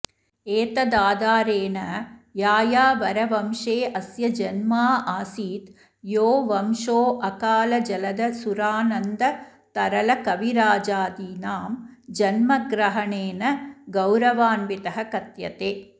एतदाधारेण यायावरवंशेऽस्य जन्माऽऽसीत् यो वंशोऽकालजलद सुरानन्दतरलकविराजादीनां जन्मग्रहणेन गौरवान्वितः कथ्यते